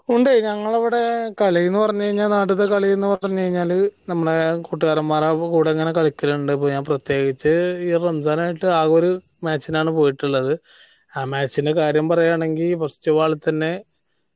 ഉണ്ട് ഞങ്ങളെ ഇവിടെ കളീന്ന് പറഞ്ഞ് കഴിഞ്ഞാൽ നാട്ടിലത്തെ കളീന്ന് പറഞ്ഞ് കഴിഞ്ഞാൽ നമ്മൾ കൂട്ടുകാരമാരകൂടെ ഇങ്ങനെ കളികാലിണ്ട് അപ്പൊ ഞാൻ പ്രത്യേകിച്ച് ഈ റമസാൻ ആയിട്ട് ആകെ ഒരു match നാണ് പോയിട്ടുള്ളത് ആ match ൻറെ കാര്യം പറയാണെങ്കിൽ first ball ൽ തന്നെ